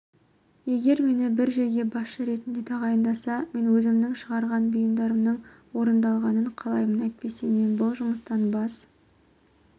егер мені бір жерге басшы ретінде тағайындаса мен өзімнің шығарған бұйрықтарымның орындалғанын қалаймын әйтпесе мен бұл жұмыстан бас